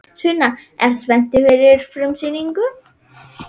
Sunna: Ertu spenntur fyrir frumsýningu?